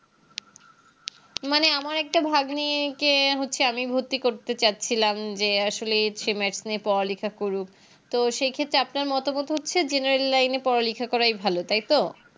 মানে আমার একটা ভাগ্নি কে হচ্ছে আমি ভর্তি করতে চাচ্ছিলাম যে আসলে সে Matc নিয়ে পড়ালেখা করুক তো সেক্ষেত্রে আপনার মতামত হচ্ছে General Line এ পড়ালেখা করে ভালো তাইতো